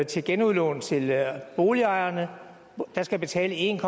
til genudlån til boligejerne der skal betale en